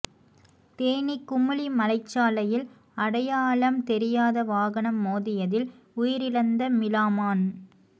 தேனி குமுளி மலைச்சாலையில் அடையாளாம் தெரியாத வாகனம் மோதியதில் உயிரிழந்த மிளாமான்